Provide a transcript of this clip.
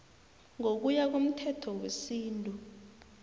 ngokuya komthetho wesintu